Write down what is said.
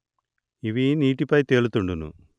ఇవి నీటి పై తేలుతుండును